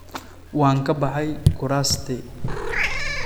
Waan ka baxay kuraastii.